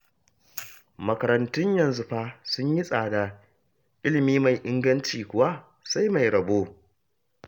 Makarantun yanzu fa sun yi tsada, ilimi mai inganci kuwa, sai mai rabo